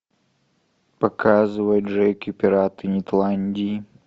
показывай джеки пираты нетландии